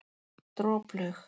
Droplaug